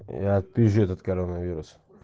я отпизжу этот коронавирус